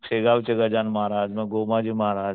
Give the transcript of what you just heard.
शेगाव चे गजानन महाराज मग गोमाजी महाराज